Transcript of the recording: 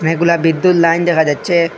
অনেকগুলা বিদ্যুৎ লাইন দেখা যাচ্ছে।